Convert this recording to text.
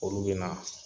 Olu bɛ na